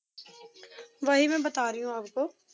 ਵਹੀ ਮੈਂ ਬਤਾ ਰਹੀ ਹੂੰ ਆਪ ਕੋ